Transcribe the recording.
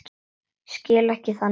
Skil ekki þannig fólk.